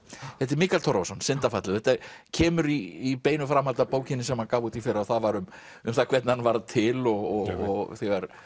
þetta er Mikael Torfason syndafallið og kemur í beinu framhaldi af bókinni sem hann gaf út í fyrra og það var um um það hvernig hann varð til og þegar